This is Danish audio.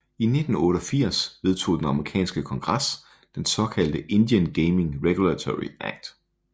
I 1988 vedtog den amerikanske kongres den såkaldte Indian Gaming Regulatory Act